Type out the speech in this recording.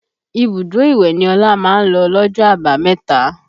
Ibùdó ìwẹ̀ ni Ọlá máa ń lọ lọ́jọ́ àbámẹ̀ta